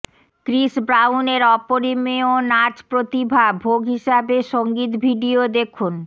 Chris Brown এর অপরিমেয় নাচ প্রতিভা ভোগ হিসাবে সঙ্গীত ভিডিও দেখুন